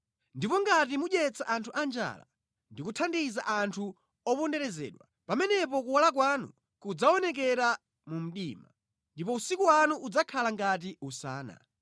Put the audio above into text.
Ndipo ngati mudyetsa anthu anjala, ndi kuthandiza anthu oponderezedwa, pamenepo kuwala kwanu kudzaonekera mu mdima, ndipo usiku wanu udzakhala ngati usana.